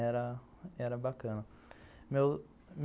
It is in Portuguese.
Era era bacana. Meu meu